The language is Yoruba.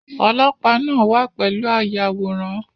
Olopaa náà wà pẹ̀lú ayàwòrán